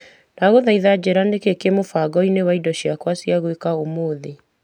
Ndagũthaitha njĩra nĩkĩĩ kĩ mũbango-inĩ wakwa wa indo cia gwĩka ũmũthĩ .